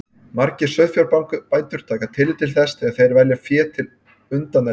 Margir sauðfjárbændur taka tillit til þess þegar þeir velja fé til undaneldis.